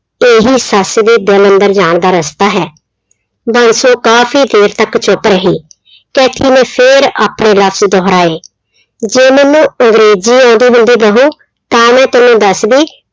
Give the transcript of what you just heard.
ਇਹੀ ਸੱਸ ਦੇ ਦਿਲ ਅੰਦਰ ਜਾਣ ਦਾ ਰਸਤਾ ਹੈ, ਬਾਂਸੋ ਕਾਫ਼ੀ ਦੇਰ ਤੱਕ ਚੁੱਪ ਰਹੀ ਕੈਥੀ ਨੇ ਫਿਰ ਆਪਣੇ ਲਫ਼ਜ਼ ਦੁਹਰਾਏ, ਜੇ ਮੈਨੂੰ ਅੰਗਰੇਜੀ ਆਉਂਦੀ ਹੁੰਦੀ ਬਹੂ ਤਾਂ ਮੈਂ ਤੈਨੂੰ ਦੱਸਦੀ